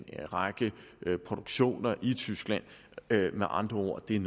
række produktioner i tyskland med andre ord er